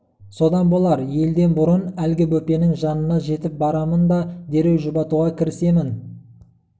содан болар елден бұрын әлгі бөпенің жанына жетіп барамын да дереу жұбатуға кірісемін